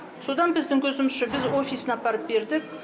содан біздің көзімізше біз офисіне апарып бердік